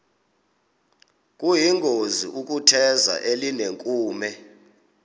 kuyingozi ukutheza elinenkume